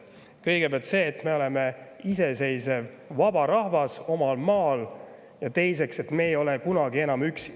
Kõigepealt see, et me oleme iseseisev vaba rahvas omal maal, ja teiseks see, et me ei ole kunagi enam üksi.